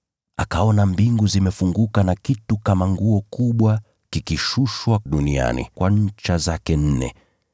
Akaona mbingu zimefunguka na kitu kama nguo kubwa kikishushwa duniani kwa ncha zake nne.